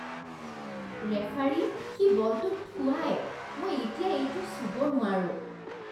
Referee, সি বলটোত থুৱায়। মই এতিয়া এইটো চুব নোৱাৰোঁ।